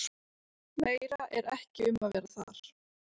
Meira er ekki um að vera þar.